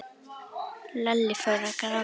Lalli fór að gráta.